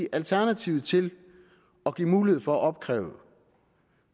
alternativ til at give mulighed for at opkræve